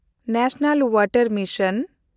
national ᱳᱣᱟᱴᱮᱱᱰᱢᱤᱥᱚᱱ